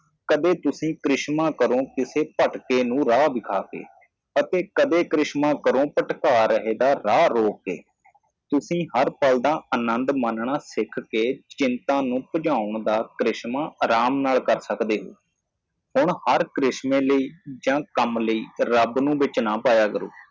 ਤੁਸੀਂ ਹਰ ਪਲ ਦਾ ਆਨੰਦ ਮੰਨਣਾ ਸਿੱਖ ਕੇ ਚਿੰਤਾ ਨੂੰ ਭਜਾਉਣ ਦਾ ਕਰਿਸ਼ਮਾ ਰਾਮ ਨਾਲ ਕਰ ਸਕਦੇ ਹੋ ਹੁਣ ਹਰ ਕਰਿਸ਼ਮੇ ਲਈ ਜਾਂ ਹਰ ਕੰਮ ਲਈ ਰੱਬ ਨੂੰ ਬਿੱਚ ਨਾ ਪਾਯਾ ਕਰੋ